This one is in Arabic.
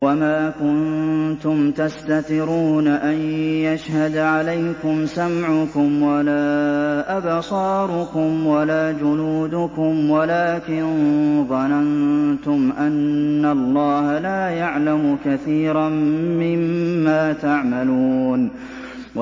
وَمَا كُنتُمْ تَسْتَتِرُونَ أَن يَشْهَدَ عَلَيْكُمْ سَمْعُكُمْ وَلَا أَبْصَارُكُمْ وَلَا جُلُودُكُمْ وَلَٰكِن ظَنَنتُمْ أَنَّ اللَّهَ لَا يَعْلَمُ كَثِيرًا مِّمَّا تَعْمَلُونَ